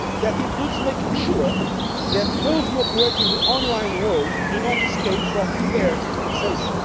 That includes making sure that those who operate in the online world do not escape from fair taxation.